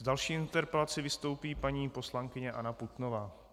S další interpelací vystoupí paní poslankyně Anna Putnová.